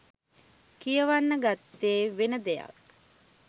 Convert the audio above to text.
කියවන්න ගත්තෙ වෙන දෙයක්.